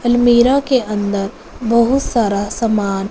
अलमीरा के अंदर बहुत सारा सामान--